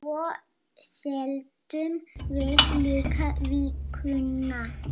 Svo seldum við líka Vikuna.